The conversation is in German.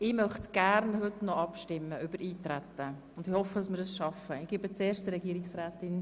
Wir sind noch in der Eintretensdebatte und im Grundsatz.